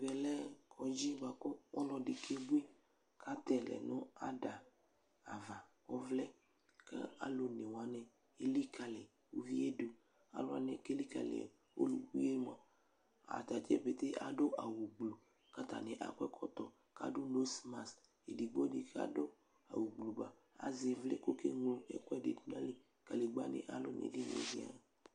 Ɛvɛ kɔdzɩ bʋa kʋ ɔlɔdɩ kebui kʋ atɛ yɩ lɛ ada ava, ɔvlɛ kʋ alʋ one wanɩ elikalɩ uvi yɛ dʋ Alʋ wanɩ kʋ elikalɩ ɔlʋbui yɛ mʋa, ata dza pete adʋ awʋgblu kʋ atanɩ akɔ ɛkɔtɔ kʋ adʋ nosmas edigbo dɩ kadʋ awʋgblu ba azɛ ɩvlɩ kʋ ɔkeŋlo ɛkʋɛdɩ dʋ nʋ ayili kʋ kadegbǝnɩ kalʋ nʋ edini yɛ zɩaa